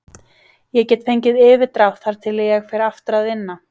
Ég get fengið yfirdrátt þar til ég fer aftur að vinna.